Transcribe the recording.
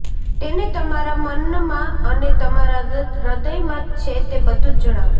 તેને તમારા મનમાં અને તમારા હૃદયમાં છે તે બધું જ જણાવો